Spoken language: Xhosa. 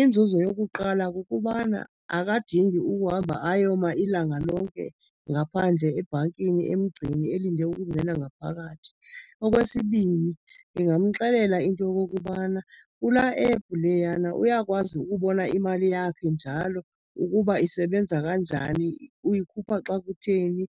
Inzuzo yokuqala kukubana akadingi ukuhamba ayoma ilanga lonke ngaphandle ebhankini emgceni elinde ukungena ngaphakathi. Okwesibini, ndingamxelela into yokokubana kulaa app leyana uyakwazi ukubona imali yakhe njalo ukuba isebenza kanjani, uyikhupha xa kutheni,